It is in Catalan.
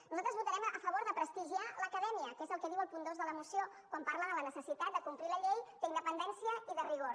nosaltres votarem a favor de prestigiar l’acadèmia que és el que diu el punt dos de la moció quan parla de la necessitat de complir la llei d’independència i de rigor